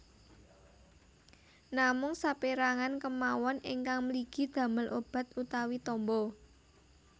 Namung sapérangan kemawon ingkang mligi damel obat utawi tamba